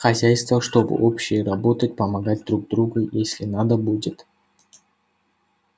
хозяйство чтобы общее работать помогать друг другу если надо будет